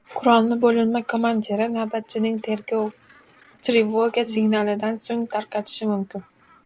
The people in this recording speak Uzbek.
Qurolni bo‘linma komandiri navbatchining trevoga signalidan so‘ng tarqatishi mumkin.